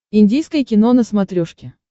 индийское кино на смотрешке